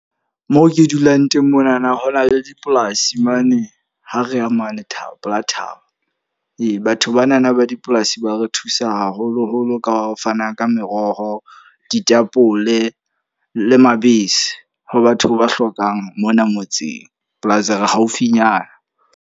Moo ke dulang teng monana, ho na le dipolasi mane ha re ya mane pela thaba. Ee, batho ba na na ba dipolasi ba re thusa haholo-holo ka ho fana ka meroho, ditapole le mabese ho batho ba hlokang mona ngotseng. Plus re haufinyana.